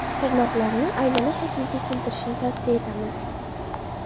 Tirnoqlarni aylana shaklga keltirishni tavsiya etamiz.